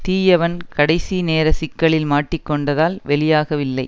தீயவன் கடைசி நேர சிக்கலில் மாட்டிக் கொண்டதால் வெளியாகவில்லை